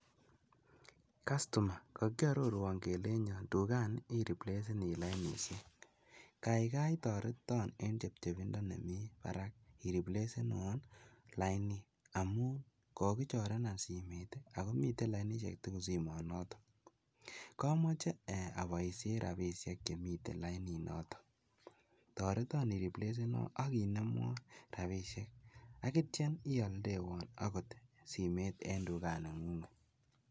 Kastoma kokiororwon kelenchon tukani iripleseni lainishek, kaikai toreton en chebchebindo nemii barak iriplesenwon lainit amuun kokichorenan simoit akomiten lainishek tukul simoit noton, komoche eeh oboishen rabishek chemiten laininoton, toreton iriplesenwon akinemwon rabishek akityo ialdewon okot simoit en tukaning'ung'et.